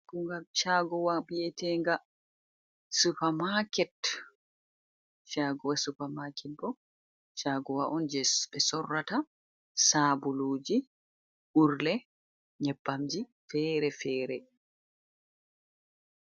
Chagowa veteɗe supermarket, ɓo chagowa on je ɓe sorrata saɓuluji urle nyeɓɓamji fere-fere.